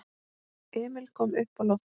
Emil kom uppá loftið.